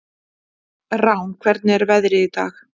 Rán, hvernig er veðrið í dag?